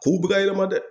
K'u bɛ ka yɛlɛma dɛ